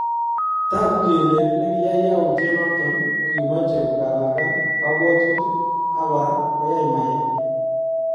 Takuu kolee nekiyae yautiet noton kokimache kokalakal kabwatutik ak koraa koyai mayeet.